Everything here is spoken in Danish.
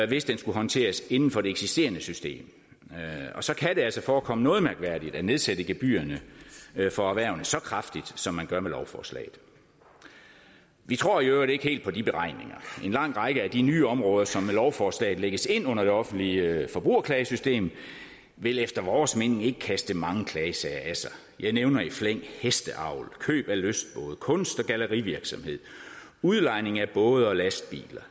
det skulle håndteres inden for det eksisterende system så kan det altså forekomme noget mærkværdigt at nedsætte gebyrerne for erhvervene så kraftigt som man gør med lovforslaget vi tror i øvrigt ikke helt på de beregninger en lang række af de nye områder som med lovforslaget lægges ind under det offentlige forbrugerklagesystem vil efter vores mening ikke kaste mange klagesager af sig jeg nævner i flæng hesteavl køb af lystbåde kunst og gallerivirksomhed udlejning af både og lastbiler